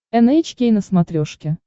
эн эйч кей на смотрешке